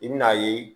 I bi n'a ye